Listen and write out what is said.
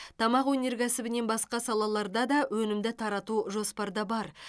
тамақ өнеркәсібінен басқа салаларда да өнімді тарату жоспарда бар